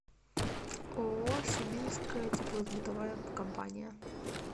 ооо сибирская теплосбытовая компания